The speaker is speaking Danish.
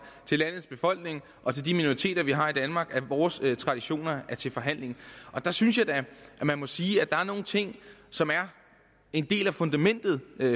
til landets befolkning og til de minoriteter vi har i danmark at vores traditioner er til forhandling der synes jeg da at man må sige at der er nogle ting som er en del af fundamentet